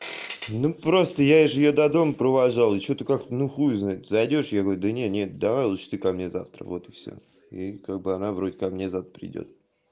ну просто я же её до дома провожал и что-то как-то ну хуй его знает зайдёшь я говорю да нет давай лучше ты ко мне завтра вот и всё и как бы она вроде как мне завтра придёт